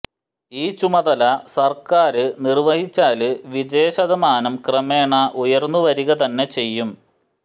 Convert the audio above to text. ഈ ചുമതല സര്ക്കാര് നിര്വ്വഹിച്ചാല് വിജയശതമാനം ക്രമേണ ഉയര്ന്നു വരിക തന്നെ ചെയ്യും